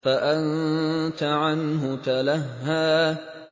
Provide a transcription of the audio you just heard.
فَأَنتَ عَنْهُ تَلَهَّىٰ